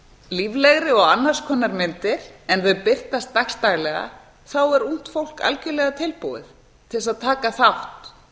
líflegri og annars konar myndir en þau birtast dags daglega þá er ungt fólk algerlega tilbúið til að taka þátt